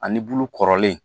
Ani bulu kɔrɔlen